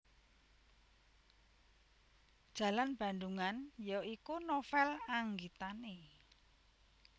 Jalan Bandungan ya iku novel anggitane